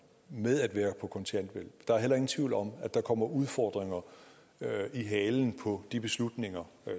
med at være på kontanthjælp og der er heller ingen tvivl om at der kommer udfordringer i halen på de beslutninger